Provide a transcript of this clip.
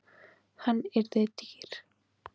Hann yrði dýr.